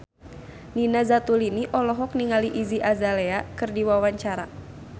Nina Zatulini olohok ningali Iggy Azalea keur diwawancara